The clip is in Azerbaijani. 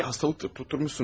Bir xəstəlik tutturmuşsunuz.